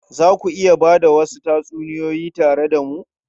Za ku iya ba da wasu tatsuniyoyi tare da mu?